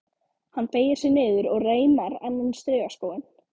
Hann beygir sig niður og reimar annan strigaskóinn.